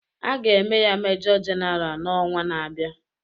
A ga-eme ya Mejọ Jenara n'ọnwa na-abịa.